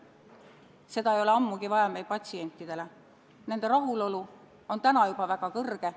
Seda ei ole ammugi vaja patsientidele, nende rahulolu on täna juba väga kõrge.